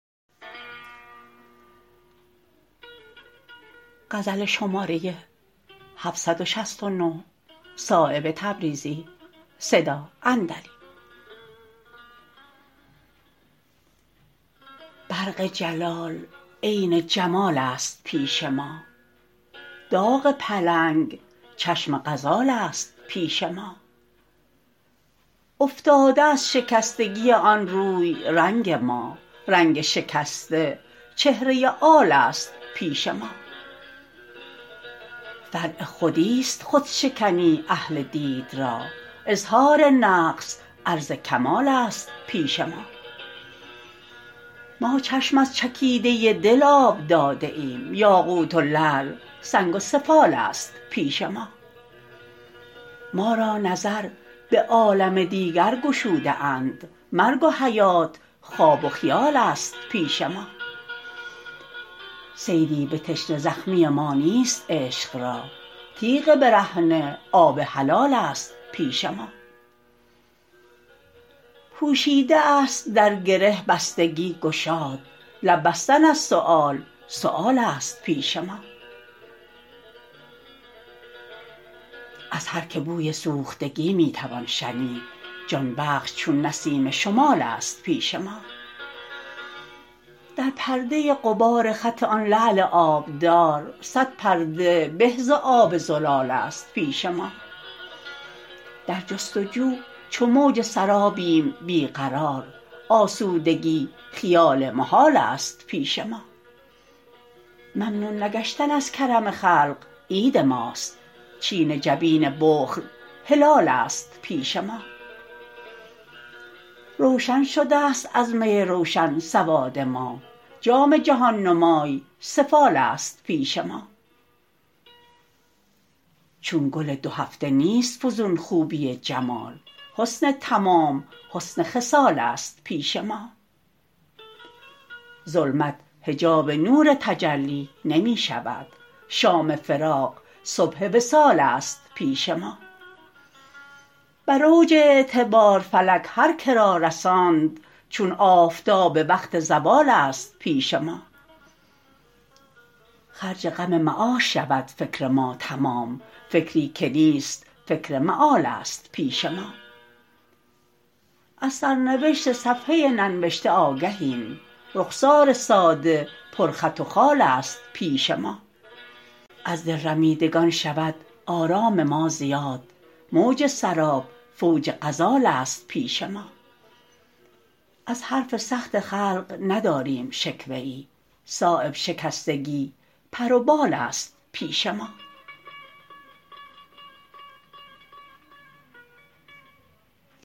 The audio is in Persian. برق جلال عین جمال است پیش ما داغ پلنگ چشم غزال است پیش ما افتاده از شکستگی آن روی رنگ ما رنگ شکسته چهره آل است پیش ما فرع خودی است خودشکنی اهل دید را اظهار نقص عرض کمال است پیش ما ما چشم از چکیده دل آب داده ایم یاقوت و لعل سنگ و سفال است پیش ما ما را نظر به عالم دیگر گشوده اند مرگ و حیات خواب و خیال است پیش ما صیدی به تشنه زخمی ما نیست عشق را تیغ برهنه آب حلال است پیش ما پوشیده است در گره بستگی گشاد لب بستن از سؤال سؤال است پیش ما از هر که بوی سوختگی می توان شنید جان بخش چون نسیم شمال است پیش ما در پرده غبار خط آن لعل آبدار صد پرده به ز آب زلال است پیش ما در جستجو چو موج سرابیم بی قرار آسودگی خیال محال است پیش ما ممنون نگشتن از کرم خلق عید ماست چین جبین بخل هلال است پیش ما روشن شده است از می روشن سواد ما جام جهان نمای سفال است پیش ما چون گل دو هفته نیست فزون خوبی جمال حسن تمام حسن خصال است پیش ما ظلمت حجاب نور تجلی نمی شود شام فراق صبح وصال است پیش ما بر اوج اعتبار فلک هر که را رساند چون آفتاب وقت زوال است پیش ما خرج غم معاش شود فکر ما تمام فکری که نیست فکر مآل است پیش ما از سرنوشت صفحه ننوشته آگهیم رخسار ساده پر خط و خال است پیش ما از دل رمیدگان شود آرام ما زیاد موج سراب فوج غزال است پیش ما از حرف سخت خلق نداریم شکوه ای صایب شکستگی پر و بال است پیش ما